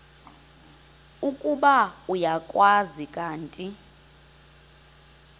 ukuba uyakwazi kanti